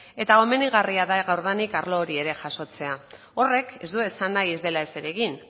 eta komenigarria da gaurdanik arlo ere jasotzea horrek ez du esan nahi ez dela ezer egin